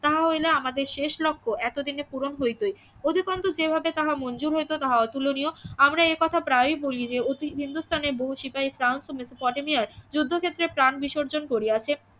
তাহা হইলে আমাদের শেষ লক্ষ্য এতদিনে পূরণ হইতই যেভাবে তাহা মঞ্জুর হইত তাহা অতুলনীয় আমরা এ কথা প্রায় বলি যে অতিত হিন্দুস্থানের বহু সিপাহির প্রান মেসোপটেমিয়ায় যুদ্ধক্ষেত্রে প্রান বিসর্জন করিয়াছেন